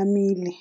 amile.